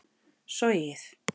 sogið